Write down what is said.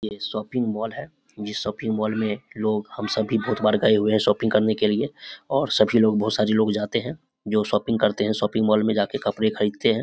ये shopping mall है ये शॉपिंग मॉल मे लोग हम सब भी तो कई बार गए हुए है शॉपिंग करने के लिए और बहुत सारे सभी लोग जाते है जो शॉपिंग करते है शॉपिंग मॉल में जाके कपड़े खरीदते है।